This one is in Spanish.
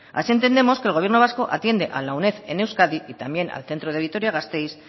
así entendemos que el gobierno vasco atiende a la uned en euskadi y también al centro de vitoria gasteiz